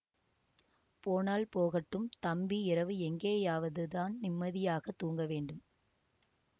போனால் போகட்டும் தம்பி இரவு எங்கேயாவது தான் நிம்மதியாகத் தூங்க வேண்டும்